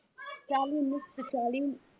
ਚਾਲੀ ਮੁਕਤ ਚਾਲੀ